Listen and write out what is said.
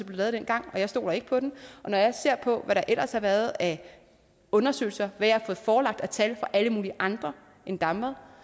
lavet dengang jeg stoler ikke på den og når jeg ser på hvad der ellers har været af undersøgelser hvad jeg har fået forelagt af tal fra alle mulige andre end damvad